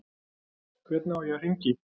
Hvernig á ég að hringja í?